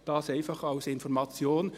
Das einfach als Information.